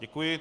Děkuji.